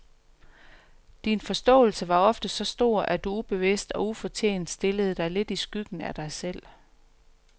Din forståelse var ofte så stor, at du ubevidst og ufortjent stillede dig lidt i skyggen af dig selv.